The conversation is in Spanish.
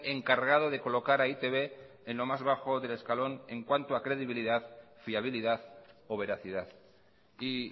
encargado de colocar a e i te be en lo más bajo del escalón en cuanto a credibilidad fiabilidad o veracidad y